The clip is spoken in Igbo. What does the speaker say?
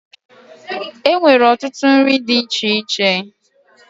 E nwere ọtụtụ nri dị iche iche.